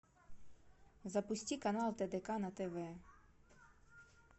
запусти канал тдк на тв